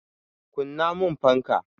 Kunna mun fanka!